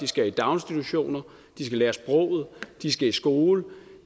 skal i daginstitution de skal lære sproget de skal i skole